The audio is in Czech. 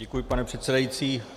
Děkuji, pane předsedající.